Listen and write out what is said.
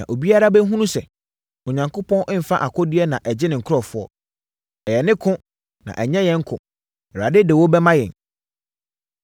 Na obiara bɛhunu sɛ, Onyankopɔn mfa akodeɛ na ɛgye ne nkurɔfoɔ. Ɛyɛ ne ko, na ɛnyɛ yɛn ko. Awurade de wo bɛma yɛn!”